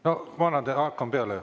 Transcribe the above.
No ma annan teile sõna, hakkame peale.